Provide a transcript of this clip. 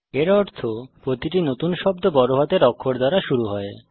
এর অর্থ প্রতিটি নতুন শব্দ বড় হাতের অক্ষর দ্বারা শুরু হয়